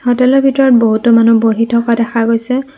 হ'টেলৰ ভিতৰত বহুতো মানুহ বহি থকা দেখা গৈছে।